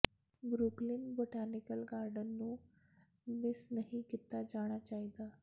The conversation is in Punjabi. ਬਰੁਕਲਿਨ ਬੋਟੈਨੀਕਲ ਗਾਰਡਨ ਨੂੰ ਮਿਸ ਨਹੀਂ ਕੀਤਾ ਜਾਣਾ ਚਾਹੀਦਾ